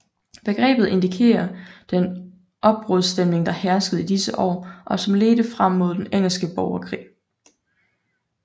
Begrebet indikerer den opbrudsstemning der herskede i disse år og som ledte frem mod den engelske borgerkrig